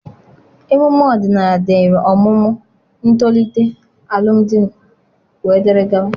Emume ọdịnala dịịrị ọmụmụ, ntolite, alụmdi, wdg.